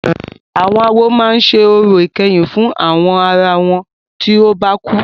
Àwọn awo máa ṣe orò ìkẹyìn fún àwọn ará wọn tí o bá kú.